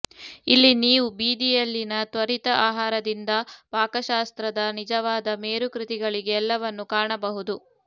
ಇಲ್ಲಿ ನೀವು ಬೀದಿಯಲ್ಲಿನ ತ್ವರಿತ ಆಹಾರದಿಂದ ಪಾಕಶಾಸ್ತ್ರದ ನಿಜವಾದ ಮೇರುಕೃತಿಗಳಿಗೆ ಎಲ್ಲವನ್ನೂ ಕಾಣಬಹುದು